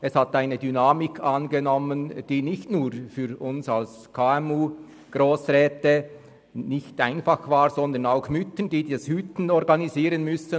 Es nahm eine Dynamik an, die nicht nur für uns als KMU-Grossräte nicht einfach war, sondern auch für Mütter, die das Kinderhüten organisieren mussten.